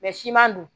siman dun